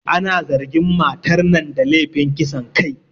Ana zargin matar nan da lefin kisan kai